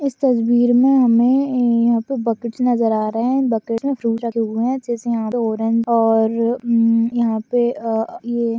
इस तस्वीर मै हमे यह पर बकेट्स नजर या रहे है बकेट्स मई तीन चार फ्रूट्स है जैसे यह पे ऑरेंज और हम्म ये अ ये--